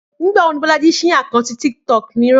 Nígbà wo ni Bọ́lájí ṣí àkáǹtì TikTok mìíràn?